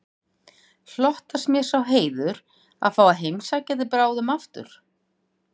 Hlotnast mér sá heiður að fá að heimsækja þig bráðum aftur